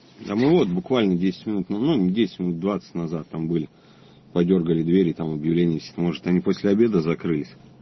да мы вот буквально десять минут ну десять минут двадцать назад там были по дёргали двери там объявление висит может они после обеда закрылись